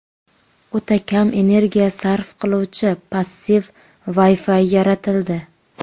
O‘ta kam energiya sarf qiluvchi passiv Wi-Fi yaratildi.